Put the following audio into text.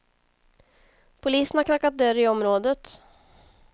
Polisen har knackat dörr i området.